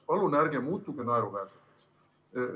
Palun ärge muutuge naeruväärseks!